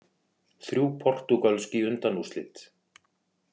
Þrjú portúgölsk í undanúrslit